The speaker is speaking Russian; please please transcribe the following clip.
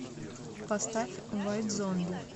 поставь уайт зомби